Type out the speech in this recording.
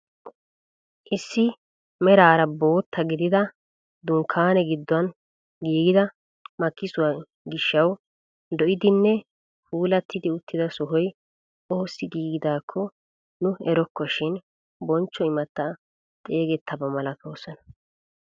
Issi meraara bootta gidida dunkkaane giduwaan giigida makkisuwaa gishshawu lo"idinne puulatti uttida sohoy oosi giigidakko nu erokko shin bonchcho imattati xeeegettaba malatoosona.